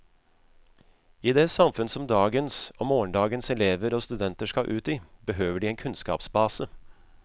I det samfunn som dagens og morgendagens elever og studenter skal ut i, behøver de en kunnskapsbase.